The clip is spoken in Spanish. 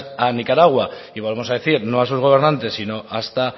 a nicaragua y volvemos a decir no a sus gobernantes sino hasta